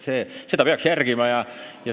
Sellist põhimõtet peaks järgima.